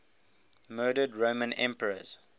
murdered roman emperors